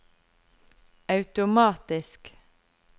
automatisk